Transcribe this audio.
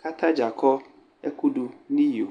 kʋ ata dza akɔ ɛkʋ dʋ nʋ iyo